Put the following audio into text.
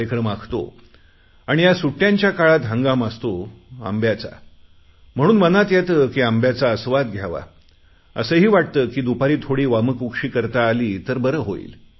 कार्यक्रम आखतो आणि ह्या सुट्ट्यांच्या काळात हंगाम असतो आंब्याचा म्हणून मनात येते की आंब्याचा आस्वाद घ्यावा असेही वाटते की दुपारी थोडी वामकुक्षी करता आली तर बरं होईल